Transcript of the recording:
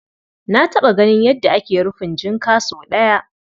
Na taɓa ganin yadda ake rufin jinka sau ɗaya.